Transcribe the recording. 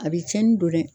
A bɛ tiɲɛni don dɛ